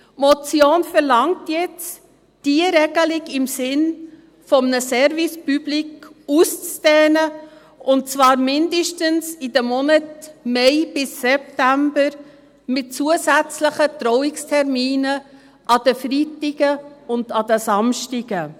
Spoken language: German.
Die Motion verlangt jetzt, diese Regelung im Sinn eines Service public auszudehnen, und zwar mindestens in den Monaten Mai bis September, mit zusätzlichen Trauungsterminen an den Freitagen und an den Samstagen.